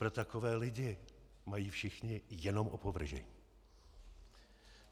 Pro takové lidi mají všichni jenom opovržení.